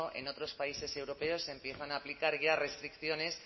en otros países europeos se empiezan a aplicar ya restricciones